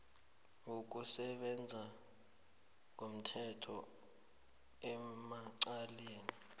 wokusebenza ngomthetho emacaleni